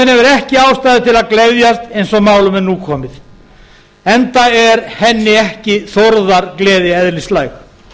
ekki ástæðu til að gleðjast eins og málum er nú komið enda er henni þórðargleði ekki eðlislæg